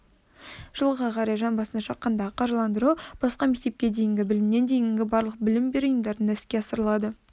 жылға қарай жан басына шаққандағы қаржыландыру басқа мектепке дейінгі білімнен дейінгі барлық білім беру ұйымдарында іске асырылады